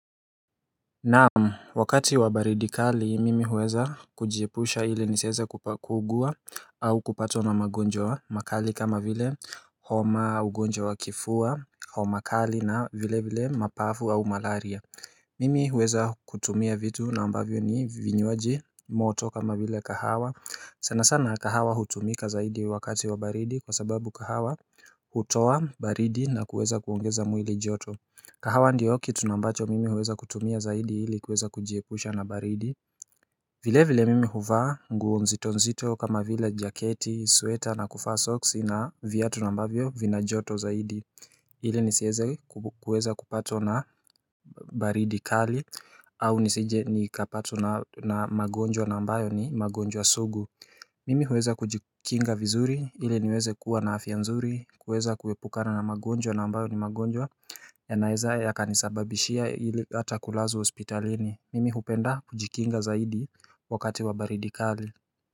Na'am, wakati wa baridi kali mimi huweza kujiepusha ili nisieze kuugua au kupatwa na magonjwa makali kama vile homa, ugonjwa wa kifua homa kali na vile vile mapafu au malaria. Mimi huweza kutumia vitu na ambavyo ni vinywaji moto kama vile kahawa. Sana sana kahawa hutumika zaidi wakati wa baridi kwa sababu kahawa hutowa baridi na kuweza kuongeza mwili joto. Kahawa ndiyo kitu nambacho mimi huweza kutumia zaidi hili kuweza kujiepusha na baridi vile vile mimi huvaa nguo nzito nzito kama vile jaketi, sweta na kufaa soksi na vyatu nambavyo vina joto zaidi ili nisieze kuweza kupatwa na baridi kali au nisije nikapatwa na magonjwa nambayo ni magonjwa sugu. Mimi huweza kujikinga vizuri ili niweze kuwa na afya nzuri, kuweza kuepukana na magonjwa na ambayo ni magonjwa yanaeza yakanisababishia ili, hata kulazwa hospitalini. Mimi hupenda kujikinga zaidi wakati wa baridi kali.